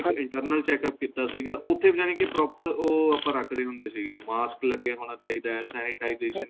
ਇੱਕ internal checkup ਕੀਤਾ ਸੀਗਾ ਉਥੇ ਜਾਣੀ ਕੀ proper ਉਹ ਆਪਾਂ ਰੱਖਦੇ ਹੁੰਦੇ ਸੀਗੇ mask ਲੱਗਿਆ ਹੋਣਾ ਚਾਹੀਦਾ ਏ sensitization